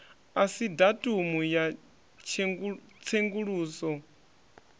asi datumu ya tshenguluso i